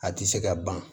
A tɛ se ka ban